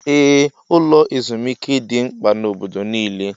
Ee, ụlọ ezumike dị mkpa na obodo nile